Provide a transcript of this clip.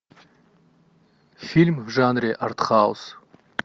фильм в жанре артхаус